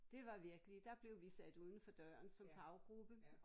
Det var virkelig der blev vi sat udenfor døren som faggruppe